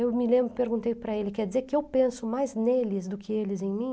Eu me lembro, perguntei para ele, quer dizer que eu penso mais neles do que eles em mim?